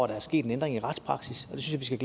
der er sket en ændring af retspraksis det synes jeg